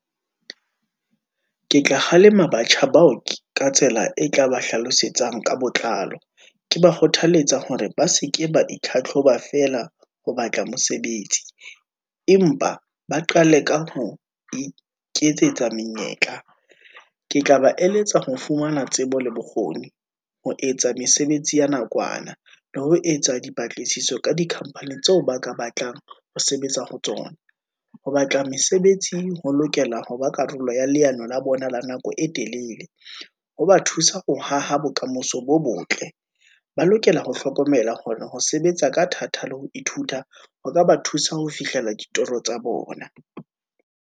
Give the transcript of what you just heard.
Ke tla kgalema batjha bao ka tsela e tla ba hlalosetsang ka botlalo, ke ba kgothaletsa hore ba seke ba itlhatlhoba feela, ho batla mosebetsi, empa ba qale ka ho iketsetsa menyetla. Ke tla ba eletsa ho fumana tsebo le bokgoni, ho etsa mesebetsi ya nakwana, le ho etsa dipatlisiso ka di-company tseo ba ka batlang ho sebetsa ho tsona. Ho batla mesebetsi ho lokela ho ba karolo ya leano la bona la nako e telele. Ho ba thusa ho haha bokamoso bo botle, ba lokela ho hlokomela kgona ho sebetsa ka thata le ho ithuta, ho ka ba thusa ho fihlela ditoro tsa bona.